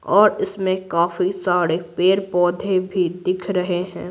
और इसमें काफी सारे पेड़-पौधे भी दिख रहे हैं।